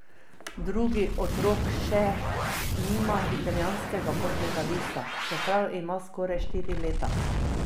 Drugi otrok še nima italijanskega potnega lista, čeprav ima skoraj štiri leta.